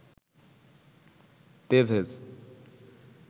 তেভেজ